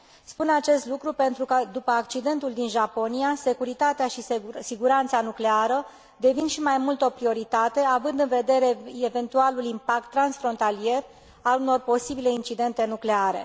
Spun acest lucru pentru că, după accidentul din Japonia, securitatea și siguranța nucleară devin și mai mult o prioritate, având în vedere eventualul impact transfrontalier al unor posibile incidente nucleare.